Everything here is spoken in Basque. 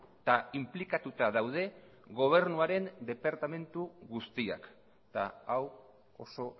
eta inplikatuta daude gobernuaren departamentu guztiak eta hau oso